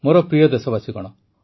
ମୋର ପ୍ରିୟ ଦେଶବାସୀଗଣ